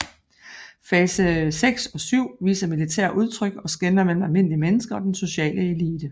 Fase VI og VII viser militære udtryk og skelner mellem almindelige mennesker og den sociale elite